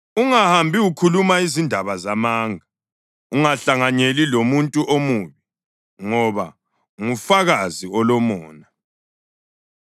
“Ungahambi ukhuluma izindaba zamanga. Ungahlanganyeli lomuntu omubi ngoba ngufakazi olomona.